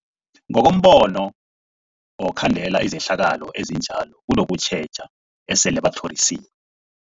Ngokombono wokhandela izehlakalo ezinjalo kunokutjheja esele batlhorisi